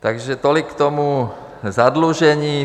Takže tolik k tomu zadlužení.